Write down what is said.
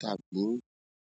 tàbí.